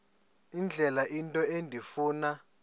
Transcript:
indlela into endifuna